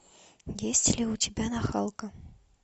есть ли у тебя нахалка